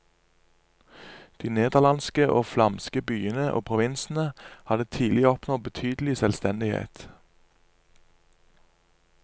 De nederlandske og flamske byene og provinsene hadde tidlig oppnådd betydelig selvstendighet.